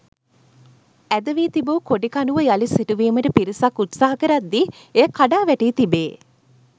ඇද වී තිබූ කොඩි කණුව යළි සිටුවීමට පිරිසක් උත්සාහ කරද්දී එය කඩා වැටී තිබේ.